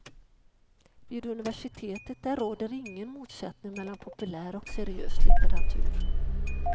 Vid universiteten där råder ingen motsättning mellan populär och seriös litteratur.